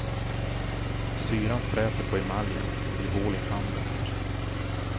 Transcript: Syran fräter på emaljen och det blir hål i tanden.